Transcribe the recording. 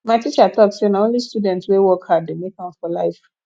my teacher talk sey na only student wey work hard dey make am for life